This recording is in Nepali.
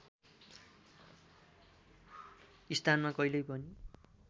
स्थानमा कहिल्यै पनि